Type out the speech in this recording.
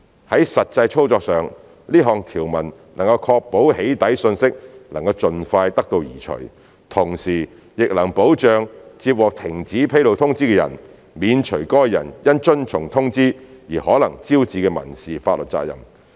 在實際操作上，這項條文能確保"起底"訊息能盡快得到移除，同時亦能保障接獲停止披露通知的人，免除該人因遵從通知而可能招致的民事法律責任。